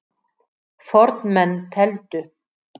Fornmenn tefldu.